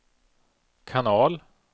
kanal